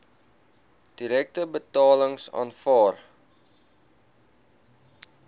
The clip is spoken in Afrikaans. direkte betalings aanvaar